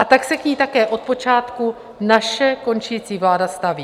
A tak se k ní také od počátku naše končící vláda staví.